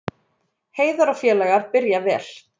Heiðar og félagar byrja vel